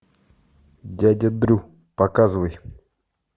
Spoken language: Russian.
дядя дрю показывай